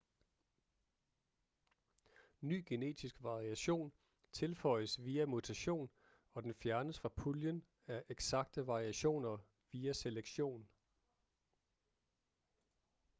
ny genetisk variation tilføjes via mutation og den fjernes fra puljen af eksakte variationer via selektion